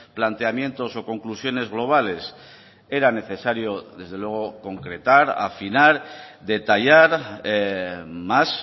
planteamientos o conclusiones globales era necesario desde luego concretar afinar detallar más